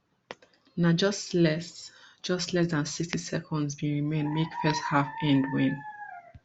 na just less just less dan sixty seconds bin remain make first half end wen